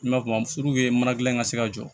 N ma kuma furu ye mana gilan ka se ka jɔ